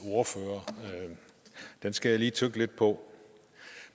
ordfører det skal jeg lige tygge lidt på